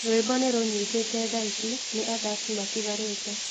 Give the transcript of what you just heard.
Rwĩmbo nĩ rũnyitĩte thaici, nĩ athaki matigarĩte.